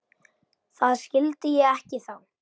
Það skyldi ég ekki þá.